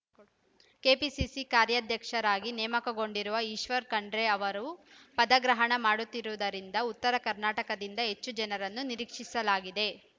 KPCC ಕಾರ್ಯಾಧ್ಯಕ್ಷರಾಗಿ ನೇಮಕಗೊಂಡಿರುವ ಈಶ್ವರ್‌ ಖಂಡ್ರೆ ಅವರು ಪದಗ್ರಹಣ ಮಾಡುತ್ತಿರುವುದರಿಂದ ಉತ್ತರ ಕರ್ನಾಟಕದಿಂದ ಹೆಚ್ಚು ಜನರನ್ನು ನಿರೀಕ್ಷಿಸಲಾಗಿದೆ